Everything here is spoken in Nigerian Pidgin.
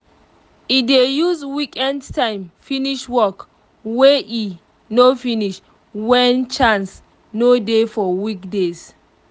e dey use weekend time finish work wey e no finish when chance no dey for weekdays